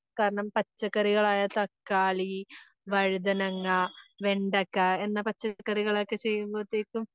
കാരണം, പച്ചക്കറികളായ തക്കാളി, വഴുതനങ്ങ, വെണ്ടയ്ക്ക എന്ന പച്ചക്കറികളൊക്കെ ചെയ്യുമ്പഴത്തെയ്ക്കും